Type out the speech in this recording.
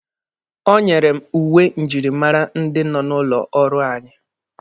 O nyere m uwe njirimara ndị nọ n'ụlọ ọrụ anyị